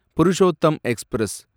Purushottam express